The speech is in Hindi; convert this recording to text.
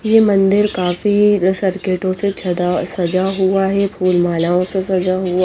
ये मंदिर काफी सर्किटो से छदा सजा हुआ है फूल मलाओ से सजा हुआ है।